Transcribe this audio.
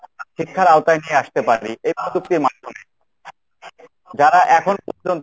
শিক্ষার আওতায় নিয়ে আসতে পারি এই প্রযুক্তির মাধ্যমে, যারা এখন পর্যন্ত